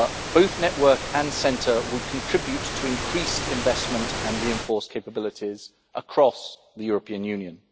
Both network and centre would contribute to increased investment and reinforce capabilities across the European Union.